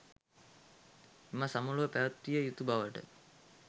එම සමුළුව පැවැත්විය යුතු බවට